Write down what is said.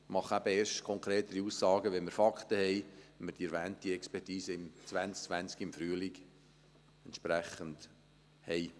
Ich mache aber erst konkretere Aussagen, wenn wir Fakten haben, wenn wir die erwähnte Expertise im Frühling 2020 entsprechend haben.